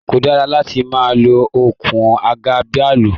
Ko dara láti ma lo okùn àga bàálù!